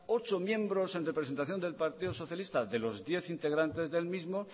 ocho miembros en representación del partido socialista de los diez integrantes del mismo